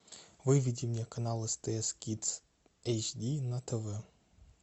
выведи мне канал стс кидс эйч ди на тв